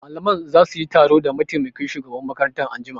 Malaman za su yi taro da mataimakin shugaban makaranta anjima